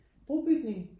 Brobygning?